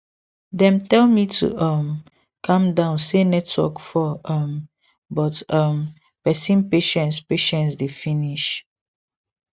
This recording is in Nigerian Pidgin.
dem tell me to um calm down say network fall um but um person patience patience dey finish